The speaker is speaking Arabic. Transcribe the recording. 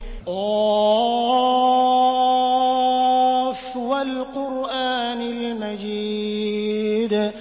ق ۚ وَالْقُرْآنِ الْمَجِيدِ